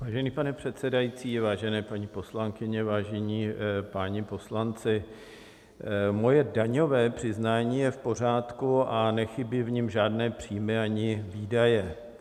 Vážený pane předsedající, vážené paní poslankyně, vážení páni poslanci, moje daňové přiznání je v pořádku a nechybí v něm žádné příjmy ani výdaje.